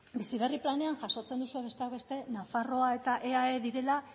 bizi berri planean jasotzen duzue besteak beste nafarroa eta eae direla